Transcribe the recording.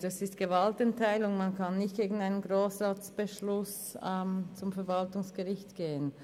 Das verlangt die Gewaltenteilung, man kann wegen eines Grossratsbeschlusses nicht zum Verwaltungsgericht gehen.